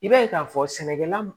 I b'a ye k'a fɔ sɛnɛkɛla